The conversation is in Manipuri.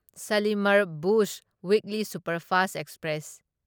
Shalimar Bhuj weekly superfast express